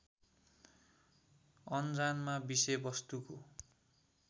अनजानमा विषयवस्तुको